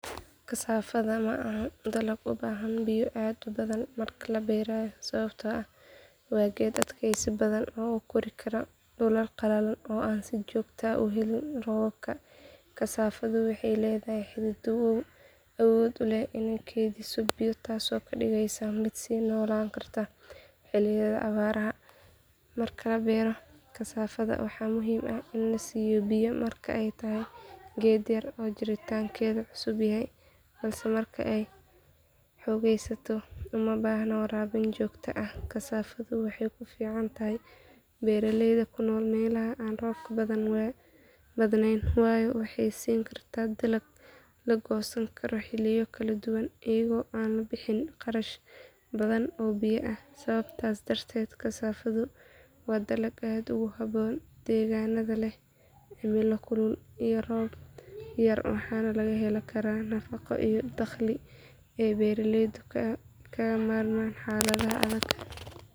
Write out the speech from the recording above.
Haa, kasaafada waxay u baahan tahay biyo aad u badan marka la beerayo sababtoo ah waa geed aad u xasaasi ah oo biyaha muhiim u ah koritaanka iyo caafimaadka dhirta. Kasaafada waxay leedahay xididdo aan aad u qoto-dheerayn, taasoo ka dhigaysa inay si sahlan uga faa’iideysato biyaha ku jira dhulka sare. Haddii aysan helin biyo ku filan, caleemaha iyo laamaha waxay noqdaan kuwo qallalan, taasoo saameyn xun ku yeelan karta tayada iyo tirada miraha. Sidoo kale, biyaha badan waxay ka caawiyaan in carrada ku hareeraysan xididdada ay noqoto mid qoyan, taasoo fududeysa in xididdadu si fiican u nuugaan nafaqooyinka muhiimka ah.